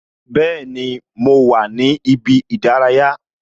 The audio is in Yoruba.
Bẹẹni, mo wà ní ibi ìdárayá